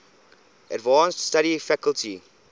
advanced study faculty